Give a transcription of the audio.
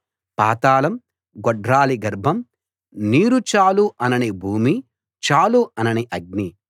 పాతాళం గొడ్రాలి గర్భం నీరు చాలు అనని భూమి చాలు అనని అగ్ని